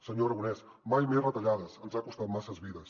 senyor aragonès mai més retallades ens ha costat masses vides